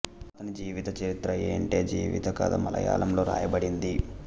అతని జీవిత చరిత్ర ఎంటే జీవిత కథ మలయాళంలో వ్రాయబడింది